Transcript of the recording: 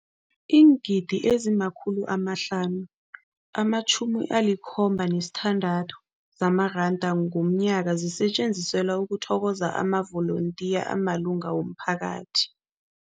Iingidi ezima-576 zamaranda ngomnyaka zisetjenziselwa ukuthokoza amavolontiya amalunga womphakathi.